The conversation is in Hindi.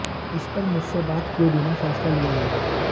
इस पर मुझसे बात किए बिना फैसला लिया गया